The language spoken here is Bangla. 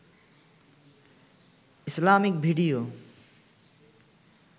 Islamic video